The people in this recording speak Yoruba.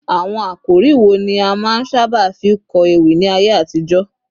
àwọn àkòrí wo ni a ma n saba fi kó ewi ní ayé àtijó